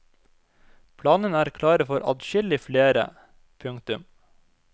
Planene er klare for adskillig flere. punktum